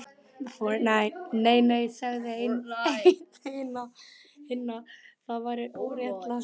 Nei, nei sagði einn hinna, það væri óréttlátt